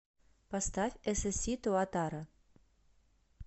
поставь эсэсси туатара